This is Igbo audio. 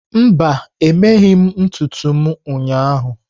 Mba, emeghị m ntutu m ụnyahụ.